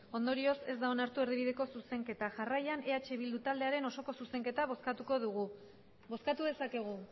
ondorioz ez da onartu erdibideko zuzenketa jarraian eh bildu taldearen osoko zuzenketa bozkatuko dugu bozkatu dezakegu